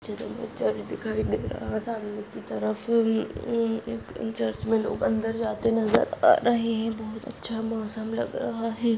Church दिखाई दे रहा है सामने की तरफ लोग ममम अंदर जाते नजर आ रहे है ये बहुत अच्छा मौसम लग रहा है।